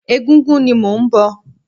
Ẹgúngún ni mò ń bọ̀.